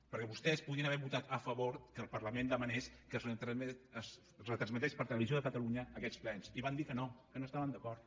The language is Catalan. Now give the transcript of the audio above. perquè vostès podien haver votat a favor que el parlament demanés que es retransmetessin per televisió de catalunya aquests plens i van dir que no que no hi estaven d’acord